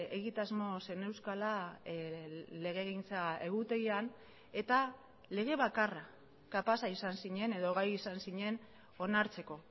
egitasmo zeneuzkala legegintza egutegian eta lege bakarra kapaza izan zinen edo gai izan zinen onartzeko